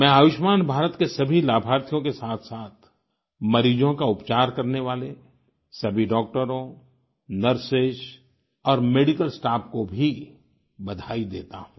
मैं आयुष्मान भारत के सभी लाभार्थियों के साथसाथ मरीजों का उपचार करने वाले सभी डॉक्टरों नर्सेस और मेडिकल स्टाफ को भी बधाई देता हूँ